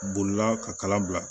Bolila ka kala bila